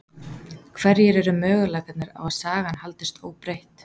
Hverjir eru möguleikarnir á að sagan haldist óbreytt?